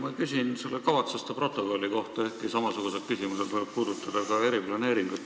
Ma küsin selle kavatsuste protokolli kohta, ehkki samasugused küsimused võivad puudutada ka eriplaneeringut.